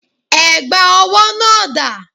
Ẹ̀gbà owó náà dà?